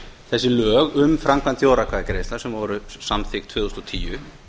þessi lög um framkvæmd þjóðaratkvæðagreiðslna sem voru samþykkt tvö þúsund og tíu